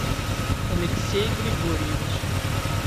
алексей григорьевич